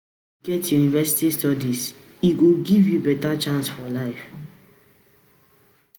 If you get university studies, e go give you beta chance for life.